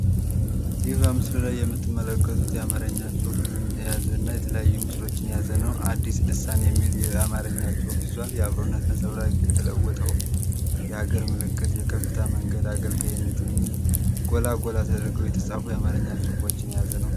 ይህ በምስሉ ላይ የምትመለከቱት የአማረኛ ጽሑፍንን ያዘ እና የተለያዩ ምስሎችን ያዘ ነው። "አዲስ ስልሳን" የሚል አማረኛ ጽሑፍ ይዟል። "የአብሮነት ነጸብራቅ"፣ "የተለወጠው የሀገር ምልክት"፣ "የከፍታ መንገድ አገልጋይነት" የሚል ጎላ ጎላ ተደርገው የተጻፉ የአማረኛ ጽሑፎችን ያዘ ነው።